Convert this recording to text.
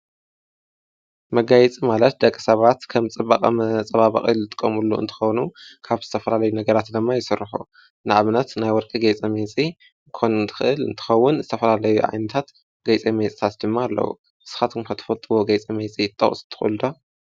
መጋይጽ ማለት ደቂ ሰባት ከም ጽበቐ መጸባባቐ ዝጥቆምሉ እንተኾኑ ካብ ዝተፈላለዩ ነገራት ድማ ይሠርሑ። ንኣብነት ናይ ወርቂ ገይጸ ሜጺ ክኮን እንትኽል እንትኸውን ዝተፍላለይ ኣይነታት ገይፀ መጽታት ድማ ኣለዉ። ንስኻትኩም ከ እትፈትዎዎ ጌይፀ መይጺ ክትጠቅሱ ትክእሉ ዶ?